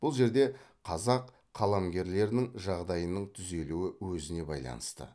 бұл жерде қазақ қаламгерлерінің жағдайының түзелуі өзіне байланысты